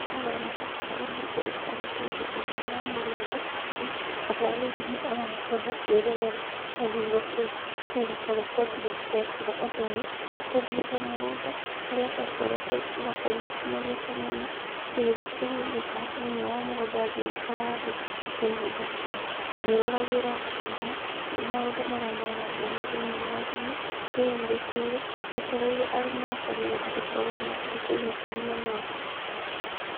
Haha haroneka tarĩ mũndũ aikarĩte thĩ thĩinĩ wa mũgũnda, aroneka tarĩ thimũ arakorwo akĩĩrorera ehurũkĩire. Niĩ rita rĩakwa rĩa mbere ndekire ũndũ ũyũ, nĩ tũthiĩte mũgũnda harĩa twakoretwo twakorirwo tũnogete mũno, ngĩgĩthiĩ kũhurũka thĩinĩ wa mũgũnda ngĩikara thĩ. Ngĩhurũkĩra ngĩroragĩra thimũ maũndũ marĩa marangenia thĩinĩ wa thimũ ndĩhurũkĩire, njetereire aruna akwa nĩgetha tũkorwo tũkĩinũkania nao.